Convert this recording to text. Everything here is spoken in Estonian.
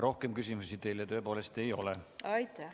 Rohkem küsimusi teile ei ole.